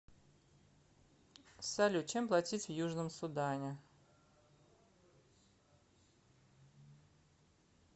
салют чем платить в южном судане